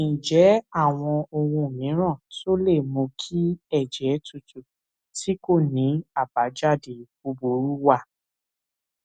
ǹjé àwọn ohun mìíràn tó lè mú kí èjè tútù tí kò ní àbájáde búburú wà